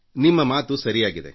ನಿಮ್ಮ ಮಾತು ಸರಿಯಾಗಿದೆ